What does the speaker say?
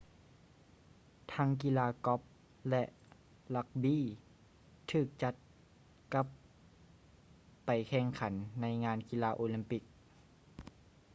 ທັງກິລາກ໊ອບ ແລະ ຣັກບີ້ ຖືກຈັດກັບໄປແຂ່ງຂັນໃນງານກິລາໂອລິມປິກ